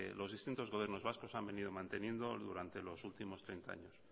los distintos gobiernos vascos han venido manteniendo durante los últimos treinta años